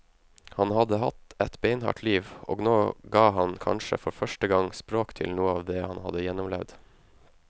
Han hadde hatt et beinhardt liv, og nå ga han kanskje for første gang språk til noe av det han hadde gjennomlevd.